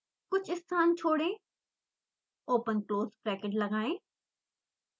कुछ स्थान छोड़ें ओपन क्लोज़ ब्रैकेट लगाएं